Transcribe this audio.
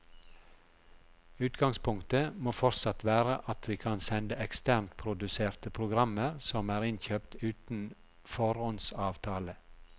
Utgangspunktet må fortsatt være at vi kan sende eksternt produserte programmer som er innkjøpt uten foråndsavtale.